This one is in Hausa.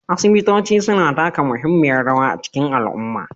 Asibitoci suna taka muhimmiyar rawa a cikin al'umma